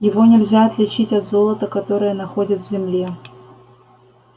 его нельзя отличить от золота которое находят в земле